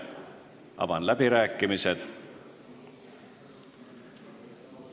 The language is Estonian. Avan läbirääkimised.